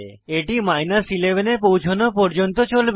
এটি 11 এ পৌছনো পর্যন্ত চলে